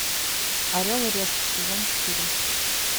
орел и решка сезон четыре